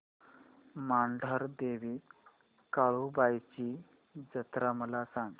मांढरदेवी काळुबाई ची जत्रा मला सांग